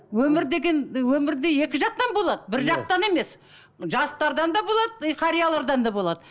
өмір деген өмірде екі жақтан болады бір жақтан емес жастардан да болады и қариялардан да болады